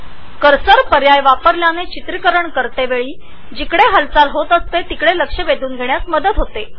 cursor option निश्चित केल्याने रेकॉर्डींगच्या वेळी जेथे घडामोडी होतात तेथे अधिक लक्ष केंद्रित करता येते